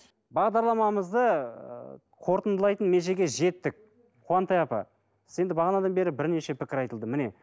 бағдарламамызды ыыы қорытындылайтын межеге жеттік қуантай апа сіз енді бағанадан бері бірнеше пікір айтылды міне